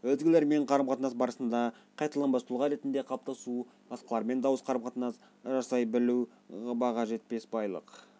өзгелермен қарым-қатынас барысында қайталанбас тұлға ретінде қалыптасу басқалармен дұрыс қарым-қатынас жасай білу баға жетпес байлық